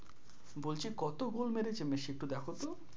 বলছি কতো গোল মেরেছে মেসি একটু দেখতো?